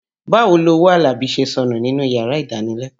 Báwo lowó Àlàbí ṣe sọnù níyàrá ìdánilẹ́kọ̀ọ́.